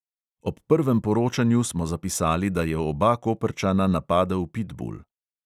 Ob prvem poročanju smo zapisali, da je oba koprčana napadel pitbul.